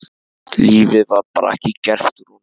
Lífið var bara ekki gert úr honum.